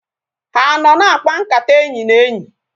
Ha anọ na-akpa nkata enyi na enyi?